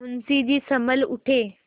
मुंशी जी सँभल उठे